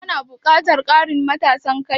Kana buƙatan ƙarin matasan kai?